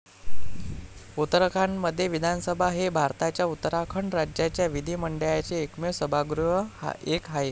उत्तराखंडह विधानसभा हे भारताच्या उत्तराखंड राज्याच्या विधिमंडळाचे एकमेव सभागृह एक आहे.